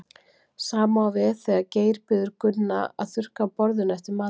sama á við þegar geir biður gunna að þurrka af borðinu eftir matinn